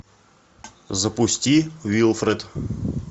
запусти уилфред